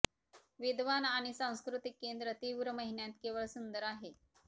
विद्वान आणि सांस्कृतिक केंद्र तीव्र महिन्यांत केवळ सुंदर आहे